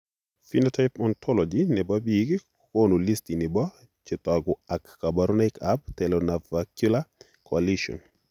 Phenotype ontology nebo biik kokoonu listini bo chetogu ak kaborunoik ab Talonavicular coalition